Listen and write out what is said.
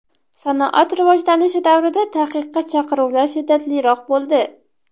Sanoat rivojlanishi davrida taqiqqa chaqiruvlar shiddatliroq bo‘ldi.